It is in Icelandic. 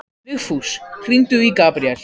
Vigfús, hringdu í Gabriel.